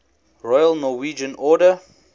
royal norwegian order